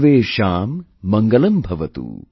Sarvesham Mangalambhavatu